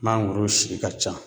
Mangoro si ka ca